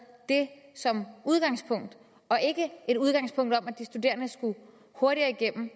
det som udgangspunkt og ikke det udgangspunkt at de studerende skulle hurtigere igennem